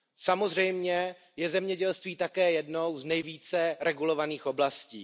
Samozřejmě je zemědělství také jednou z nejvíce regulovaných oblastí.